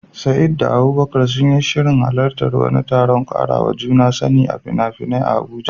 Sa'id da Abubakar sun yi shirin halartar wani taron ƙarawa juna sani na fina-finai a Abuja